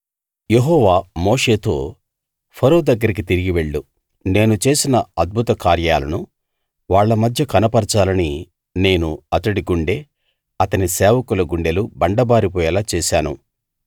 యెహోవా మోషేతో ఫరో దగ్గరికి తిరిగి వెళ్ళు నేను చేసిన అద్భుత కార్యాలను వాళ్ళ మధ్య కనపరచాలని నేను అతడి గుండె అతని సేవకుల గుండెలు బండబారిపోయేలా చేశాను